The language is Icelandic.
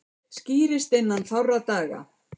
Skýrist innan fárra daga